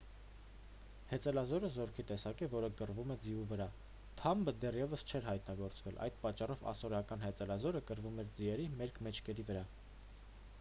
հեծելազորը զորքի տեսակ է որը կռվում է ձիու վրա թամբը դեռևս չէր հայտնագործվել այդ պատճառով ասորական հեծելազորը կռվում էր ձիերի մերկ մեջքերի վրա